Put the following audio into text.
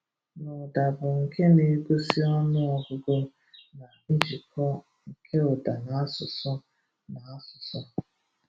N’ụ́da bụ nke na-egosí ọnụ ọgụgụ na njikọ nke ụ́da na áṣụ̀sụ. na áṣụ̀sụ.